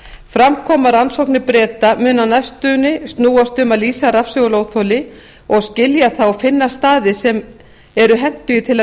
fram kom að rannsóknir breta muni á næstunni snúast um að lýsa rafsegulóþoli og skilja það og finna staði sem eru hentugir til að